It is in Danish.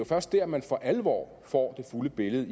først dér man for alvor får det fulde billede